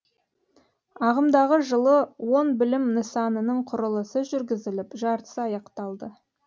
ағымдағы жылы он білім нысанының құрылысы жүргізіліп жартысы аяқталды